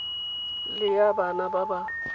le ya bana ba ba